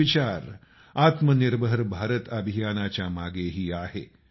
हाच विचार आत्मनिर्भर भारत अभियानाच्या मागेही आहे